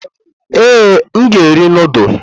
Ee, m ga-eri nudulu.